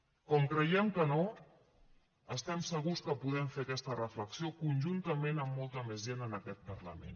com creiem que no estem segurs que podem fer aquesta reflexió conjuntament amb molta més gent en aquest parlament